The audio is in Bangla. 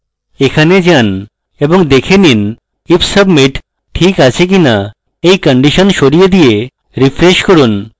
এখানে যান এবং দেখে নিন if submit ঠিক আছে কিনা এই condition সরিয়ে দিয়ে refresh করুন